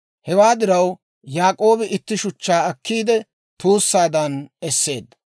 Hewaa diraw Yaak'oobi itti shuchchaa akkiidde tuussaadan esseedda.